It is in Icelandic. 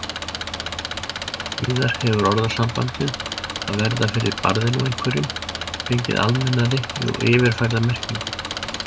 Síðar hefur orðasambandið að verða fyrir barðinu á einhverjum fengið almennari og yfirfærða merkingu.